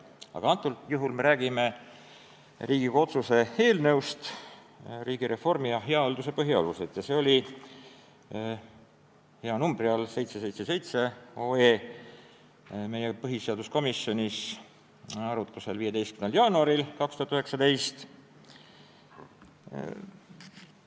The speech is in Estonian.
Aga antud juhul me räägime Riigikogu otsuse "Riigireformi ja hea halduse põhialused" eelnõust ja see oli hea numbri all – 777 OE – põhiseaduskomisjonis arutlusel 15. jaanuaril 2019.